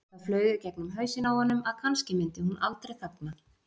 Það flaug í gegnum hausinn á honum að kannski myndi hún aldrei þagna.